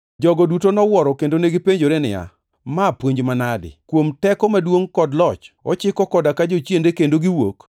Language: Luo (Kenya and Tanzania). Jogo duto nowuoro kendo negipenjore niya, “Ma puonj manade? Kuom teko maduongʼ kod loch, ochiko koda ka jochiende kendo giwuok.”